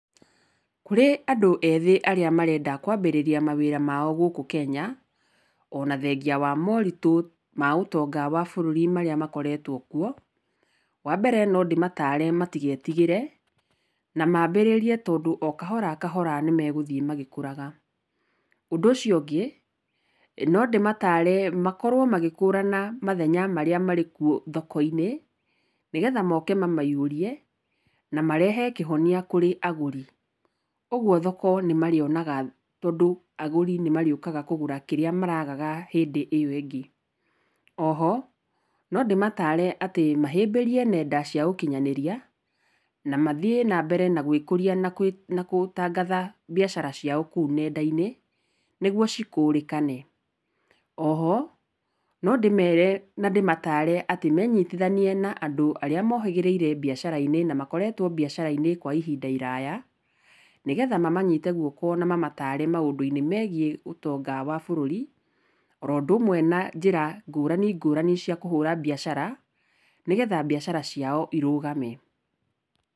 Kũrĩ andũ ethĩ arĩa marenda kwambĩrĩria mawĩra mao gũkũ Kenya ona thengia wa maũritũ ma ũtonga wa bũrũri marĩa makoretwo kuo, wambere nondĩmatare matigetigĩre, na mambĩrĩrie tondũ okahora kahora nĩmegũthiĩ magĩkũraga. Ũndũ ũcio ũngĩ, nondĩmatare makorwo magĩkũrana mathenya marĩa marĩkuo thoko-inĩ, nĩgetha moke mamaihũrie, na marehe kĩhonia kũrĩ agũri, ũguo thoko nĩmarĩonaga tondũ agũri nĩmarĩũkaga kũgũra kĩrĩa maragaga hĩndĩ ĩyo ĩngĩ. Oho, nondĩmatare atĩ mahĩmbĩrie nenda cia ũkinyanĩria, na mathiĩ nambere na gwĩkũria na gũtangatha mbiacara ciao kũu nenda-inĩ, nĩguo cikũrĩkane. Oho, nondĩmere na ndĩmatare atĩ menyitithanie na andũ arĩa mohĩgĩrĩire mbiacara-inĩ na makoretwo mbiacara-inĩ kwa ihinda iraya, nĩgetha mamanyite guoko na mamatare maũndũ-inĩ megiĩ ũtonga wa bũrũri, oũndũ ũmwe na njĩra ngũrani ngũrani cia kũhũra mbiacara, nĩgetha mbiacara ciao irũgame.